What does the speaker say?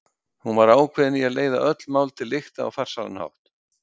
Hún var ákveðin í að leiða öll mál til lykta á farsælan hátt.